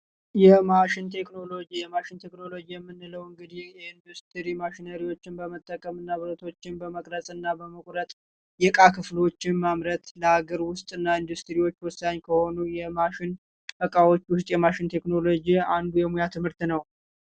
ማሽን ቴክኖሎጂ ማሽን ቴክኖሎጂ የምንለው እንግዲህ ኢንዱስትሪ ማሽኖችን በመጠቀም እናቶችን በመቅረጽ እና በመቁረጥ የቃ ክፍሎችን ማምረት ለአገር ውስጥ የማሽን እቃዎች የማሽን ቴክኖሎጂ አንዱ የሙያ ትምህርት